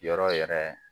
Yɔrɔ yɛrɛ